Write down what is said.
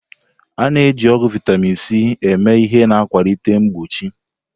A na-eji ọgwụ vitamin C eme ihe na-akwalite mgbochi.